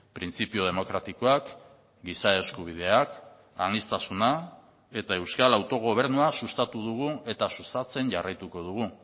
printzipio demokratikoak giza eskubideak aniztasuna eta euskal autogobernua sustatu dugu eta sustatzen jarraituko dugu